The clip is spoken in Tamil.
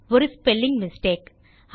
ஒரு ஸ்பெல்லிங் மிஸ்டேக்